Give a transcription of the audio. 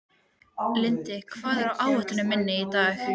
Lindi, hvað er á áætluninni minni í dag?